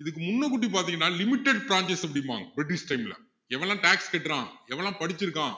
இதுக்கு முன்னுக்கூட்டி பாத்திங்கன்னா limited அப்படிம்பாங்க british time ல எவனெல்லாம் tax கட்டுறான் எவன் எல்லாம் படிச்சிருக்கான்